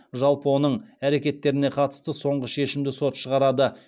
жалпы оның әрекеттеріне қатысты соңғы шешімді сот шығарады